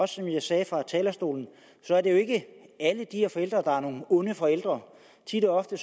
som jeg sagde fra talerstolen er det jo ikke alle de her forældre der er nogle onde forældre tit og ofte